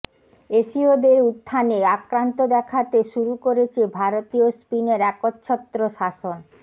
এশীয়দের উত্থানে আক্রান্ত দেখাতে শুরু করেছে ভারতীয় স্পিনের একচ্ছত্র শাসন